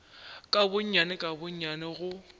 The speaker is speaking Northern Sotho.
ka gonnyane ka gonnyane go